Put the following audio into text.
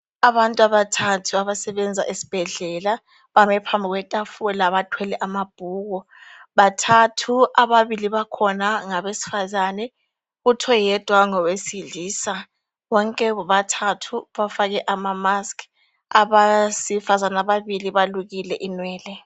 Abantu abathathu abasebenza esibhedlela bame phambi kwetafula bathwele amabhuku. Bathathu, ababili bakhona ngabesifazane, kuthi oyedwa ngowesilisa. Bonke bobathathu bafake ama-mask. Abesifazana ababili balukile inwele.